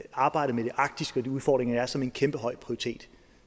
arbejdet med de arktiske udfordringer der er som en kæmpe høj prioritet